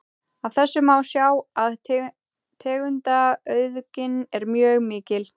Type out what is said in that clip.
Af þessu má sjá að tegundaauðgin er mjög mikil.